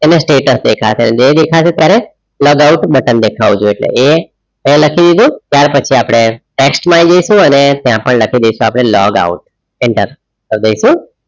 એને status દેખાશે નહિ દેખાશે ત્યારે log out button દેખાવું જોઈએ એટલે એ લખી દીધું ત્યાર પછી આપણે tax માં આવી જઈશું અને ત્યાં પણ લખી દઈશું આપણે log out enter કર દઈશું.